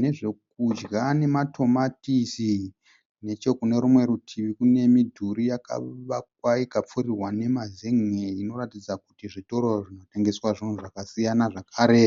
nezvokudya nematomatisi. Nechokune rumwe rutivi kune midhuri yakavakwa ikapfurirwa nemazen'e inoratidza kuti zvitoro zvinotengeswa zvinhu zvakasiyana zvakare.